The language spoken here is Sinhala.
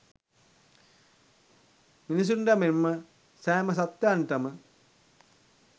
මිනිසුන්ට මෙන් ම සෑම සත්ත්වයන්ට ම